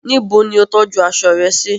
Nibo ni o tọju aṣọ rẹ si?